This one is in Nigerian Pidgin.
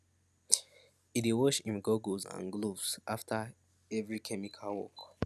e dey wash im goggles and gloves after every chemical work